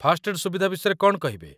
First aid ସୁବିଧା ବିଷୟରେ କ'ଣ କହିବେ?